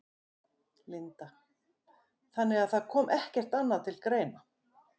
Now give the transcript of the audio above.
Linda: Þannig að það kom ekkert annað til greina?